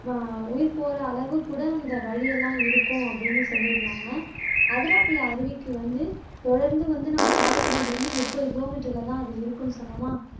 உயிர் போற அளவு கூட அந்த வழியெல்லாம் இருக்கும் அப்படின்னு சொல்லியிருந்தாங்க அதிரப்பள்ளி அருவிக்கு வந்து தொடந்து வந்து சாலக்குடியில இருந்து முப்பது கிலோமீட்டர்ல தான் அது இருக்கும்னு சொன்னோமா